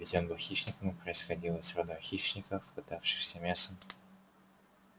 ведь он был хищником и происходил из рода хищников пытавшихся мясом